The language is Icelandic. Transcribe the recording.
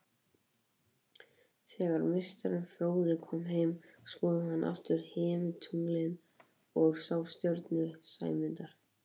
Þegar meistarinn fróði kom heim skoðaði hann aftur himintunglin og sá stjörnu Sæmundar.